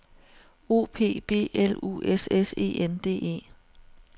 O P B L U S S E N D E